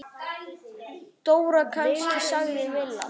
Dóra kannski? sagði Milla.